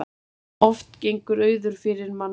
Oft gengur auður fyrir mannkostum.